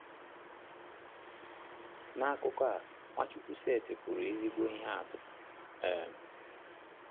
N’akụkụ a, Nwachukwu setịpụrụ ezigbo ihe atụ. um